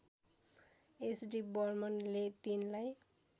SD बर्मनले तिनलाई